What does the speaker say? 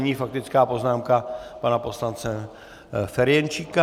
Nyní faktická poznámka pana poslance Ferjenčíka.